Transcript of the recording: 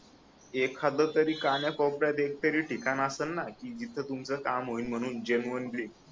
एखाद तरी काना कोप-यात एक तरी ठिकाण आसन ना की जिथ तुमच काम होईन म्हणून जेनुइनली